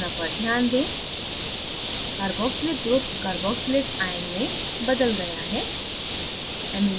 संरचना पर ध्यान दें carboxylic group cooh carboxylate ion में बदल गया है